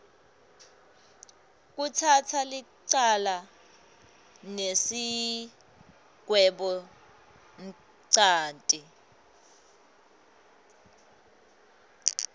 kutsatsa licala nesigwebonchanti